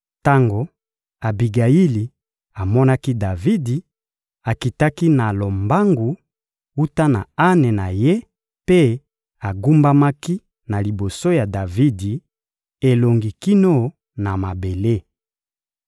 Tango Abigayili amonaki Davidi, akitaki na lombangu wuta na ane na ye mpe agumbamaki na liboso ya Davidi, elongi kino na mabele.